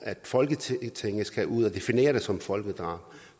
at folketinget skal ud at definere det som folkedrab